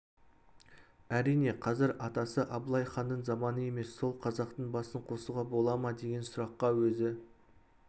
әрине қазір атасы абылай ханның заманы емес сол қазақтың басын қосуға бола ма деген сұраққа өзі